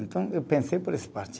Então, eu pensei por essa parte.